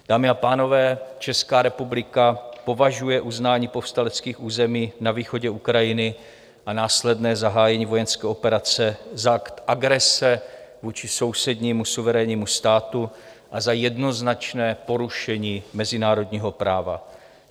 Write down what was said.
Dámy a pánové, Česká republika považuje uznání povstaleckých území na východě Ukrajiny a následné zahájení vojenské operace za akt agrese vůči sousednímu suverénnímu státu a za jednoznačné porušení mezinárodního práva.